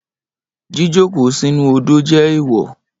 Jíjókòó sínú u odò jẹ́ ẹ̀ẹ̀wọ̀